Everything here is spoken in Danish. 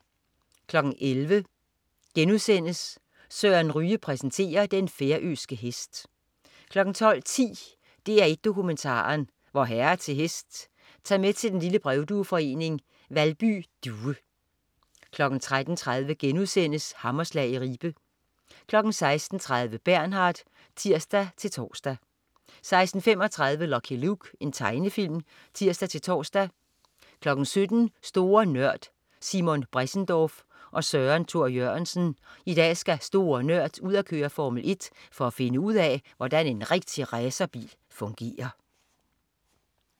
11.00 Søren Ryge præsenterer. Den færøske hest* 12.10 DR1 Dokumentaren: Vor Herre til Hest. Tag med til den lille brevdueforening, Valby Due 13.30 Hammerslag i Ribe* 16.30 Bernard (tirs-tors) 16.35 Lucky Luke. Tegnefilm (tirs-tors) 17.00 Store Nørd. Simon Bressendorf og Søren Thor Jørgensen. I dag skal "Store Nørd" ud at køre Formel 1 for at finde ud af, hvordan en rigtig racerbil fungerer